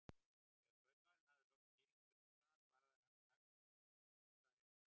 Þegar kaupmaðurinn hafði loks skilið spurninguna svaraði hann strax á klossaðri ensku